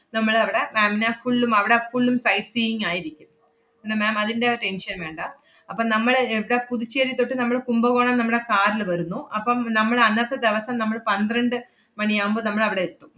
നമ്മളവടെ ma'am നെ full ഉം അവടെ full ഉം sight seeing ആയിരിക്കും. പിന്നെ ma'am അതിന്‍റെ tension വേണ്ട. അപ്പ നമ്മള് എവിടാ പുതുച്ചേരി തൊട്ട് നമ്മള് കുംഭകോണം നമ്മടെ car ല് വരുന്നു. അപ്പം നമ്മള് അന്നത്തെ ദെവസം നമ്മള് പന്ത്രണ്ട് മണിയാവുമ്പോ നമ്മളവടെ എത്തും.